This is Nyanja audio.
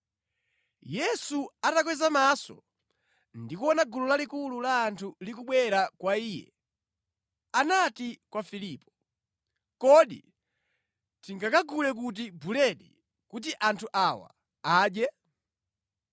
Yesu atakweza maso ndi kuona gulu lalikulu la anthu likubwera kwa Iye, anati kwa Filipo, “Kodi tingagule kuti buledi kuti anthu awa adye?”